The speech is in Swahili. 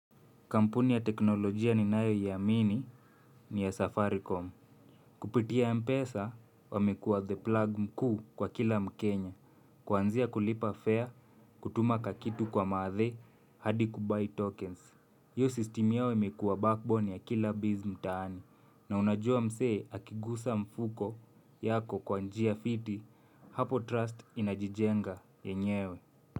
Kampuni ya teknolojia ninayoijua ni ya Safaricom. Kupitia mpesa wamekuwa the plan mkuu kwa kila mkenya kwanzia kulipa fare, kutuma kakitu kwa mathe, hadi kubuy tokens. Hiyo system yao imekuwa backbone ya kila business mtaani. Na unajua mse, akigusa mfuko yako kwa njia fiti, hapo trust inajijenga yenyewe.